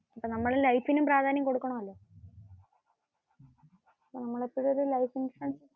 നമ്മൾ ലൈഫിന് പ്രാധാന്യം കൊടുക്കണം.